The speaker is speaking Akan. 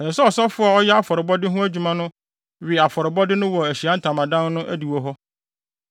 Ɛsɛ sɛ ɔsɔfo a ɔyɛ afɔrebɔ no ho adwuma no we afɔrebɔde no wɔ Ahyiae Ntamadan no adiwo hɔ.